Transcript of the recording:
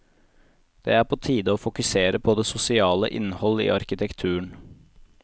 Det er på tide å fokusere på det sosiale innhold i arkitekturen.